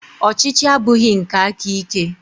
Ọchịchị abụghị nke aka ike.